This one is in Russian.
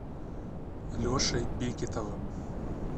лешей бекетовым